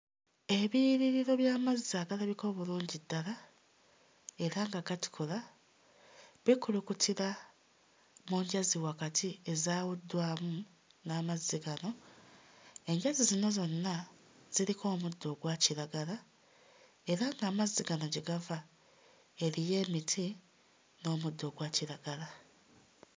Ebiyiriro by'amazzi agalabika obulungi ddala era nga gatukula, bikulukutira mu njazi wakati ezaawuddwamu n'amazzi gano, enjazi zino zonna ziriko omuddo ogwakiragala, era ng'amazzi gano gye gava eriyo emiti n'omuddo ogwakiragala.